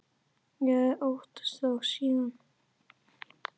Ég hafði óttast þá síðan.